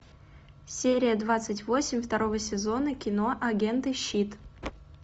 серия двадцать восемь второго сезона кино агенты щит